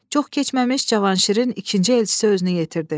Çox keçməmiş Cavanşirin ikinci elçisi özünü yetirdi.